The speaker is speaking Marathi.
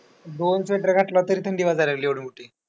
दोन sweater घातले तरी थंडी वाजायला लागली एवढी मोठी.